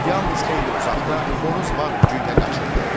Yalnız xeyli uzaqda xoruz var gücü ilə qaçırdı.